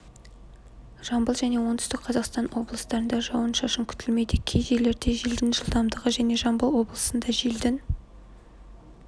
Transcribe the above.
жамбыл және оңтүстік қазақстан облыстарында жауын-шашын күтілмейді кей жерлерде желдің жылдамдығы және жамбыл облысында желдің